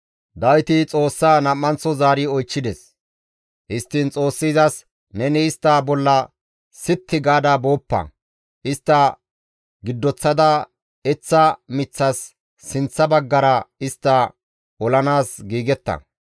Dawiti Xoossaa nam7anththo zaari oychchides; histtiin Xoossi izas, «Neni istta bolla sitti gaada booppa. Istta giddoththada eththa miththas sinththa baggara istta olanaas giigetta.